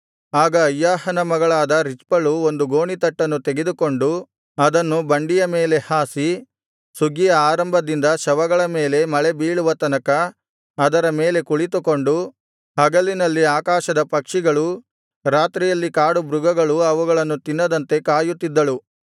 ಆಗ ಅಯ್ಯಾಹನ ಮಗಳಾದ ರಿಚ್ಪಳು ಒಂದು ಗೋಣಿತಟ್ಟನ್ನು ತೆಗೆದುಕೊಂಡು ಅದನ್ನು ಬಂಡೆಯ ಮೇಲೆ ಹಾಸಿ ಸುಗ್ಗಿಯ ಆರಂಭದಿಂದ ಶವಗಳ ಮೇಲೆ ಮಳೆ ಬೀಳುವ ತನಕ ಅದರ ಮೇಲೆ ಕುಳಿತುಕೊಂಡು ಹಗಲಿನಲ್ಲಿ ಆಕಾಶದ ಪಕ್ಷಿಗಳೂ ರಾತ್ರಿಯಲ್ಲಿ ಕಾಡು ಮೃಗಗಳೂ ಅವುಗಳನ್ನು ತಿನ್ನದಂತೆ ಕಾಯುತ್ತಿದ್ದಳು